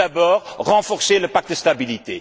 Tout d'abord, renforcer le pacte de stabilité.